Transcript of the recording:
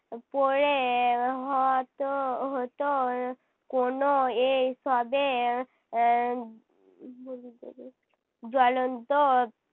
পড়ে হতো হয়তো কোনো এই সবের এর জ্বলন্ত